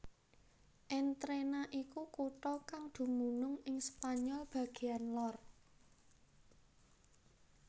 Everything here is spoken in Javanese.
Entrena iku kutha kang dumunung ing Spanyol bagéan lor